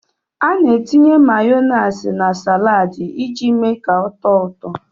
Ana etinye Mayonaise na salaadi iji mee ka ọ tóó ụtọ.